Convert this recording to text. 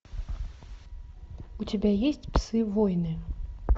у тебя есть псы войны